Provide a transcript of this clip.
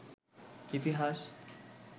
ইতিহাস